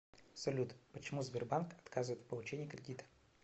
салют почему сбербанк отказывает в получении кредита